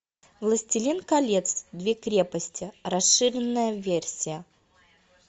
властелин колец две крепости расширенная версия